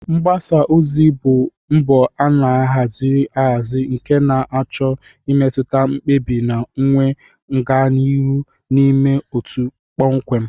Mgbasa ozi bụ mbọ a haziri ahazi nke na-achọ imetụta mkpebi na-enwe ọganihu n'ime otu kpọmkwem